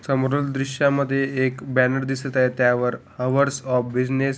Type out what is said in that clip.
समोरील दृश्या मध्ये एक बॅनर दिसत आहे त्यावर हौर्स ऑफ बिजनेस --